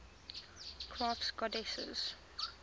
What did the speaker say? crafts goddesses